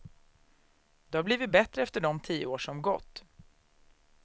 Det har blivit bättre efter de tio år som gått.